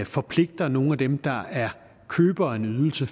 forpligter nogle af dem der er købere af en ydelse